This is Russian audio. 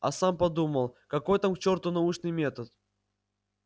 а сам подумал какой там к чёрту научный метод